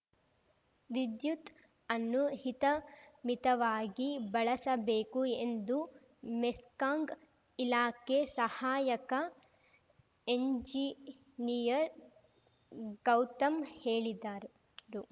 ವಿದ್ಯುತ್‌ ಅನ್ನು ಹಿತಮಿತವಾಗಿ ಬಳಸಬೇಕು ಎಂದು ಮೆಸ್ಕಾನ್ಗ್ ಇಲಾಖೆ ಸಹಾಯಕ ಎಂಜಿನಿಯರ್‌ ಗೌತಮ್‌ ಹೇಳಿದ್ದಾರ್ ರು